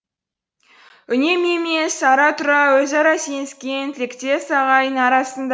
үнемі емес ара тұра өзара сеніскен тілектес ағайын арасында